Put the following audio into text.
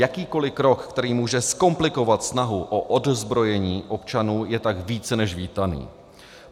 Jakýkoliv krok, který může zkomplikovat snahu o odzbrojení občanů, je tak více než vítaný.